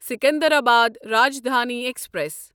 Secunderabad Rajdhani express